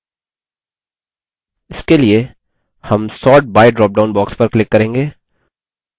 इसके लिए हम sort by ड्रॉपडाउन box पर click करेंगे